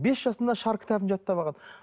бес жасында шар кітабын жаттап алған